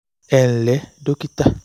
ẹ ǹlẹ́ dókítà